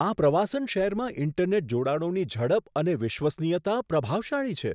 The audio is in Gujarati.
આ પ્રવાસન શહેરમાં ઈન્ટરનેટ જોડાણોની ઝડપ અને વિશ્વસનીયતા પ્રભાવશાળી છે.